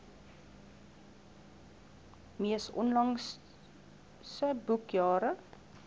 mees onlangse boekjare